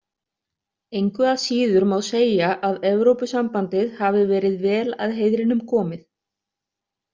Engu að síður má segja að Evrópusambandið hafi verið vel að heiðrinum komið.